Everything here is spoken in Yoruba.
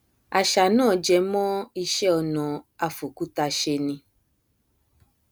àṣà náà jẹmọ iṣẹ ọnà afòkúta ṣe ni